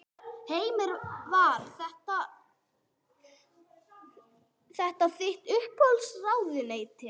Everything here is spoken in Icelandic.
Heimir: Var þetta þitt uppáhalds ráðuneyti?